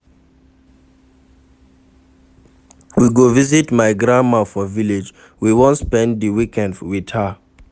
We go visit my grandma for village, we wan spend di weekend wit her.